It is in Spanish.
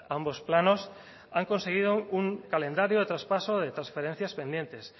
ambos planos han conseguido un calendario de traspaso de transferencias pendientes